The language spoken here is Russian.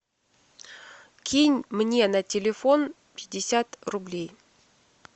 кинь мне на телефон пятьдесят рублей